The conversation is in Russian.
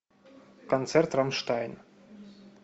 концерт рамштайн